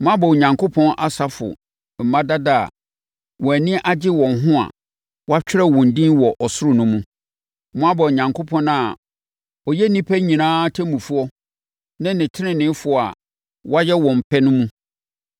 Moaba Onyankopɔn asafo mma dada a wɔn ani gye wɔn ho a wɔatwerɛ wɔn din wɔ ɔsoro no mu. Moaba Onyankopɔn a ɔyɛ nnipa nyinaa ɔtemmufoɔ ne ateneneefoɔ a wɔayɛ wɔn pɛ no mu.